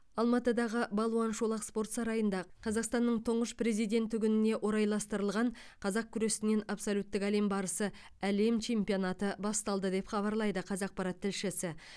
алматыдағы балуан шолақ спорт сарайында қазақстанның тұңғыш президенті күніне орайластырылған қазақ күресінен абсолюттік әлем барысы әлем чемпионаты басталды деп хабарлайды қазақпарат тілшісі